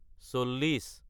চল্লিশ